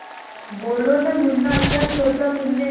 बोलो न मुन्ना क्या सोचा तुमने